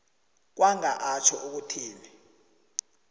kwanga atjho ukuthi